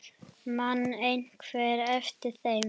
Man einhver eftir þeim?